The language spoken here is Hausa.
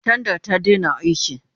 Tanda ta daina aiki.